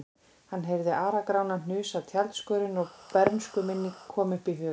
Hann heyrði Ara-Grána hnusa af tjaldskörinni og bernskuminning kom upp í hugann.